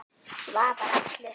Svavar allur.